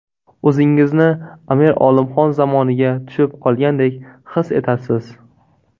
O‘zingizni Amir Olimxon zamoniga tushib qolgandek his etasiz.